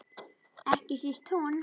Ekki síst hún.